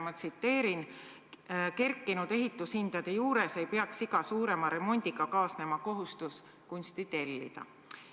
Ma tsiteerin: "Kerkinud ehitushindade juures ei peaks iga suurema remondiga kaasnema kohustus kunsti tellida.